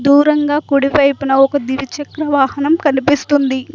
దూరంగా కుడి వైపున ఒక ద్విచక్ర వాహనం కనిపిస్తుంది.